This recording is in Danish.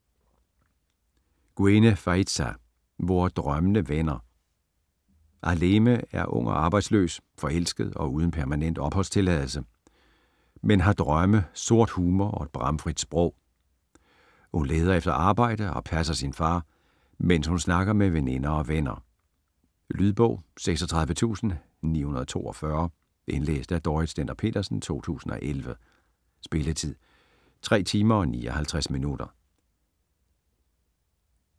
Guène, Faïza: Hvor drømmene vender Ahlème er ung, arbejdsløs, forelsket og uden permanent opholdstilladelse, men har drømme, sort humor og et bramfrit sprog. Hun leder efter arbejde og passer sin far, mens hun snakker med veninder og venner. Lydbog 36942 Indlæst af Dorrit Stender-Petersen, 2011. Spilletid: 3 timer, 59 minutter.